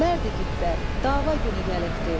Mərd igidlər, dava günü gəlibdir.